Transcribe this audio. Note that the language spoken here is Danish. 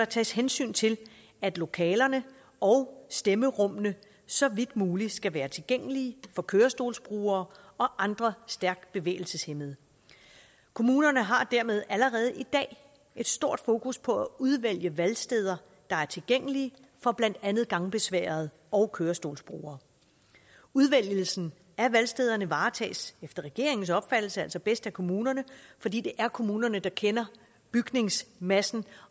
tages hensyn til at lokalerne og stemmerummene så vidt muligt skal være tilgængelige for kørestolsbrugere og andre stærkt bevægelseshæmmede kommunerne har dermed allerede i dag et stort fokus på at udvælge valgsteder der er tilgængelige for blandt andet gangbesværede og kørestolsbrugere udvælgelsen af valgstederne varetages efter regeringens opfattelse altså bedst af kommunerne fordi det er kommunerne der kender bygningsmassen